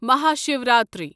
Mahashivratri